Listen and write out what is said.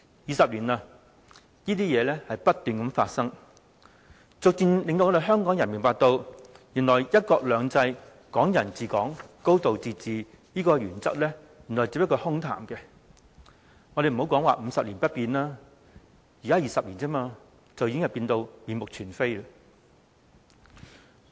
二十年了，這些事情不斷發生，逐漸令香港人明白到，原來"一國兩制、港人治港、高度自治"的原則只是空談，不要說50年不變，只是20年，已經變到面目全非。